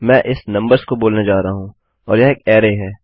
मैं इस नंबर्स को बोलने जा रहा हूँ और यह एक अरै है